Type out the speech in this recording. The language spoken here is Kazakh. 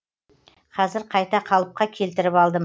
қазір қайта қалыпқа келтіріп алдым